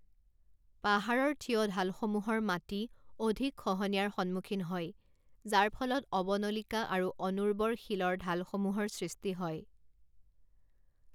পাহাৰৰ থিয় ঢালসমূহৰ মাটি অধিক খহনীয়াৰ সন্মুখীন হয়, যাৰ ফলত অৱনলিকা আৰু অনুৰ্বৰ শিলৰ ঢালসমূহৰ সৃষ্টি হয়।